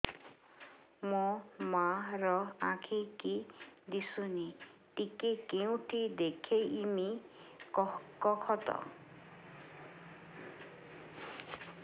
ମୋ ମା ର ଆଖି କି ଦିସୁନି ଟିକେ କେଉଁଠି ଦେଖେଇମି କଖତ